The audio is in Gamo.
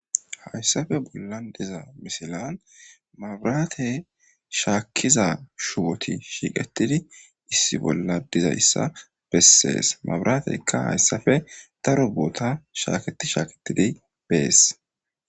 Haysappe bollan diza misilan maburate shaakiza shuboti issi bolla shiqetid dizaysa beses. Maburateyka haysappe daro boota shaaketi shaaketidi beesi.